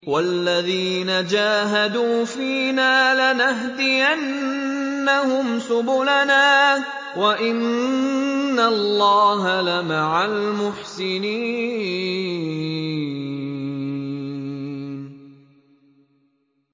وَالَّذِينَ جَاهَدُوا فِينَا لَنَهْدِيَنَّهُمْ سُبُلَنَا ۚ وَإِنَّ اللَّهَ لَمَعَ الْمُحْسِنِينَ